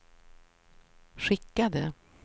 skickade